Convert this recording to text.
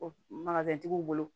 O magali tigiw bolo